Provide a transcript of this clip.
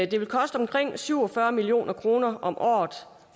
det vil koste omkring syv og fyrre million kroner om året